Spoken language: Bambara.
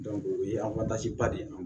o ye de ye